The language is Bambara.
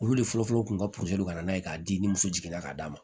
Olu de fɔlɔfɔlɔ tun ka ka na n'a ye k'a di ni muso jiginna ka d'a ma